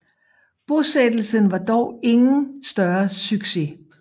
Bosættelsen var dog ingen større succes